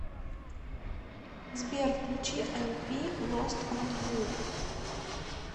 сбер включи элпи лост он ю